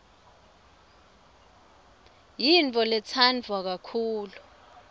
yintfoletsandwa kakhulu